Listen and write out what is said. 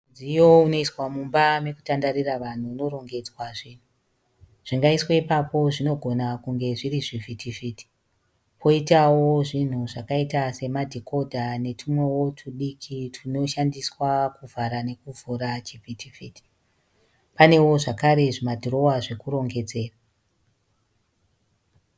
Mudziyo unoiswa mumba mekutandarira vanhu unorongedzwa zvinhu. Zvingaiswe ipapo zvinogona kunge zviri zvivhitivhiti. Poitawo zvinhu zvakaita semadhikodha netwumwewo twudiki twunoshandiswa kuvhara nekuvhura chivhitivhiti. Panewo zvakare zvimadhirowa zvekurongedzera.